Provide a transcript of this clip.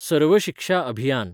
सर्व शिक्षा अभियान